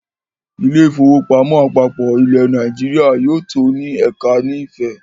“ Ilé-ìfowópamọ́ àpapọ̀ ilẹ̀ Nàìjíríà ” yóò tó ní ẹ̀ka ni Ifẹ̀.